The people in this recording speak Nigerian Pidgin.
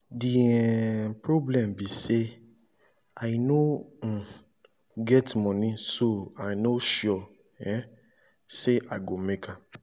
the um problem be say i no um get money so i no sure um say i go make am